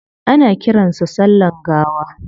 Ana kiran sa sallan gawa